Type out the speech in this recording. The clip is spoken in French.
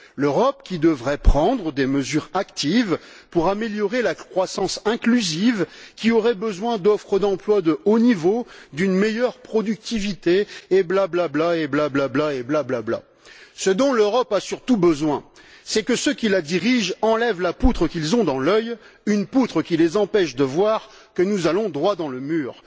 L'Europe, qui devrait prendre des mesures actives pour améliorer la croissance inclusive, qui aurait besoin d'offres d'emplois de haut niveau, d'une meilleure productivité et blablabla, et blablabla, et blablabla Ce dont l'Europe a surtout besoin, c'est que ceux qui la dirigent enlèvent la poutre qu'ils ont dans l'œil, une poutre qui les empêche de voir que nous allons droit dans le mur.